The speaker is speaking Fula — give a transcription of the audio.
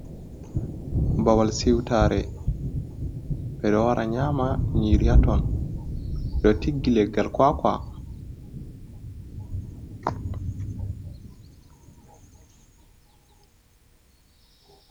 Babal siwtaare, ɓe ɗo wara nyaama haaton ɓe ɗo tiggi leggal kwaakwa.